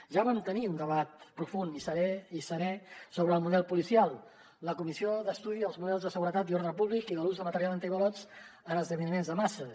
ja vam tenir un debat profund i serè sobre el model policial la comissió d’estudi dels models de seguretat i ordre públic i de l’ús de material antiavalots en esdeveniments de masses